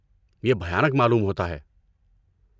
یہ بھیانک معلوم ہوتا ہے۔